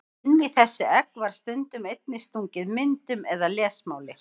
Inn í þessi egg var stundum einnig stungið myndum eða lesmáli.